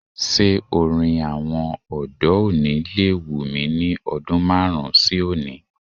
Ṣé orin àwọn ọ̀dọ́ òní lè wù mí ní ọdún márùn-ún sí oni?